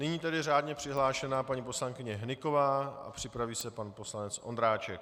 Nyní tedy řádně přihlášená paní poslankyně Hnyková a připraví se pan poslanec Ondráček.